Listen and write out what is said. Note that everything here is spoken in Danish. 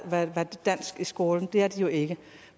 dansk fra i skolen det er det jo ikke